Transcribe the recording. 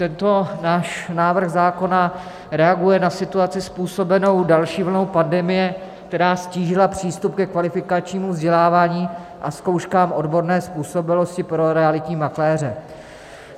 Tento náš návrh zákona reaguje na situaci způsobenou další vlnou pandemie, která ztížila přístup ke kvalifikačnímu vzdělávání a zkouškám odborné způsobilosti pro realitní makléře.